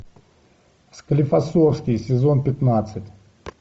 склифосовский сезон пятнадцать